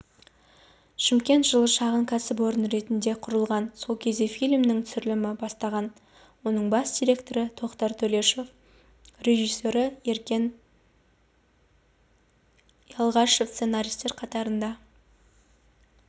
шымкент жылы шағын кәсіпорын ретінде құрылған сол кезде фильмнің түсірілімі басталған оның бас директоры тоқтар төлешов режиссері еркен ялғашев сценаристер қатарында